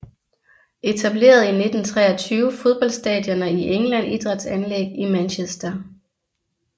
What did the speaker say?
Etableret i 1923 Fodboldstadioner i England Idrætsanlæg i Manchester